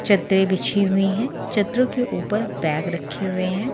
चदरे बिछी हुई है चदरों के ऊपर बैग रखे हुए है।